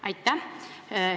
Aitäh!